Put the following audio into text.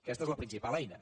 aquesta és la principal eina